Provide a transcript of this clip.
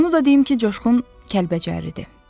Onu da deyim ki, Coşqun Kəlbəcərlidir.